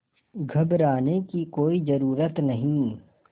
घबराने की कोई ज़रूरत नहीं